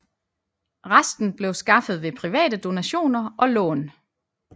Resten blev skaffet ved private donationer og lån